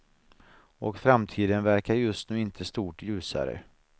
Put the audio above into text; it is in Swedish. Och framtiden verkar just nu inte stort ljusare.